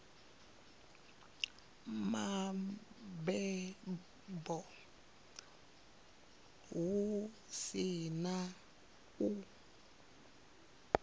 mabebo hu si na u